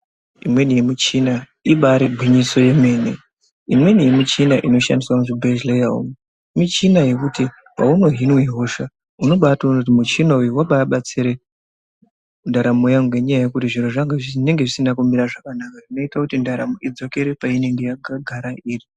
Imweni yemuchina ibari gwinyiso remene imweni yemichina inoshandiswa muzvibhedhlera umu michina yekuti paunohinwa hosha unobatoona kuti muchina uyu wababatsira ndaramo yangu ngenyaya yekuti zviro zvinenge zvisina kumira zvakanaka zvinoita kuti ndaramo idzokere painenge yakagara iri.